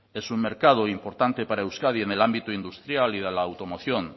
es un mercado importante para euskadi en el ámbito industrial y de la automoción